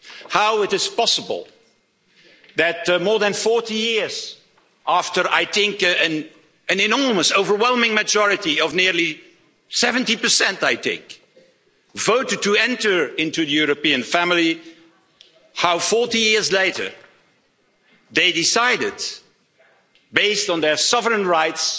How is it possible that, more than 40 years after, I think, an enormous overwhelming majority of nearly 70 voted to enter into the European family, how 40 years later they decided, based on their sovereign rights,